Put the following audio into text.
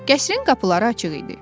Qəsrin qapıları açıq idi.